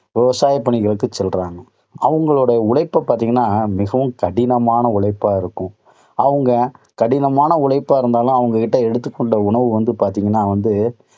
விவசாய பணிகளுக்கு சென்றாங்க. அவங்களோட உழைப்ப பார்த்தீங்கன்னா மிகவும் கடினமான உழைப்பா இருக்கும். அவங்க, கடினமான உழைப்பா இருந்தாலும் அவங்க எடுத்துக் கொண்ட உணவு வந்து, பாத்தீங்கன்னா வந்து